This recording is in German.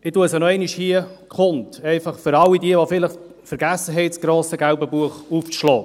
Ich tue sie hier nochmals kund, für all jene, die vielleicht vergessen haben, das grosse gelbe Buch aufzuschlagen.